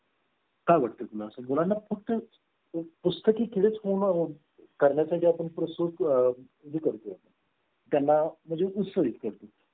काय वाटतं तुला मुलांना फक्त पुस्तकी किडा करण्या आपण process आह करते आपण त्यांना म्हणजे उत्सर्जित करतो